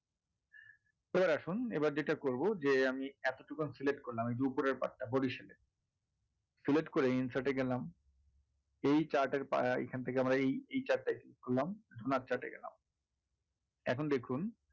এবার আসুন এবার যেটা করবো যে আমি এতটুকু আমি select করলাম এই যে ওপরের part টা . select করে insert এ গেলাম এই chart এর . এখান থেকে আমরা এই chart টায় click করলাম donut chart এ গেলাম এখন দেখুন